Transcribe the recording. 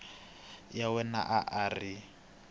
wa yena a a ri